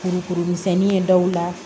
Kurukuru misɛnnin ye dawula